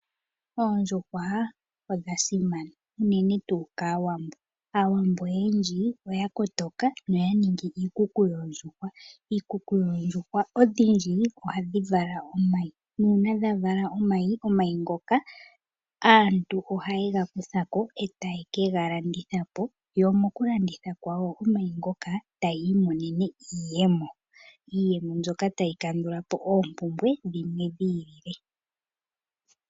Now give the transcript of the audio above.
Oondjuhwa odha simana unene tuu kaawambo. Aawambo oyendji oya kotoka noya ningi iikuku yoondjuhwa . Iikuku yoondjuhwa odhindji ohadhi vala omayi nuuna dha vala omayi ngoka aantu ohaye ga kutha po etaye ke galanditha po yo mokulanditha po omayi ngoka taya imonene mo iiyemo, iiyemo mbyoka tayi kandulapo oompumbwe dhimwe dhi ili le.